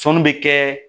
Sɔnni bɛ kɛ